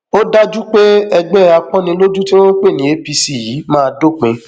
ó dájú pé ẹgbẹ àpọnnilójú tí wọn ń pè ní apc yìí máa dópin